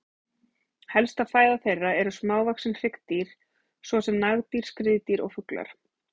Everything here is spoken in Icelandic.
Helsta fæða þeirra eru smávaxin hryggdýr svo sem nagdýr, skriðdýr og fuglar.